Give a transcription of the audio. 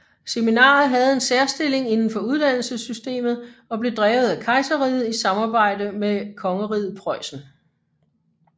Seminaret havde en særstilling indenfor uddannelsessystemet og blev drevet af kejserriget i samarbejde med kongeriget Preussen